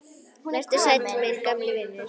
Vertu sæll, minn gamli vinur.